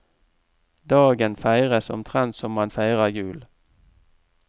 Dagen feires omtrent som man feirer jul.